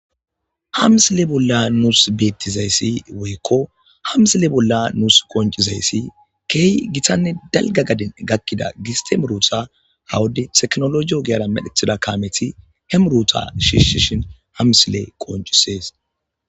Ha misile bolla nusi beyizays woyoko qoncizaysi keeh gitanne dalga gaden gakida giste muruta ha wode tekinoloje ogiyara medhetida kaameti shiishin ha misiley qoncisesi.